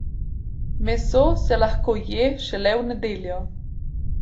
Meso se lahko je šele v nedeljo.